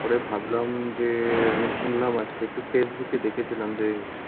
পরে ভাবলাম যে, আমি শুনলাম আজকে, একটু ফেসবুকে দেখেছিলাম যে,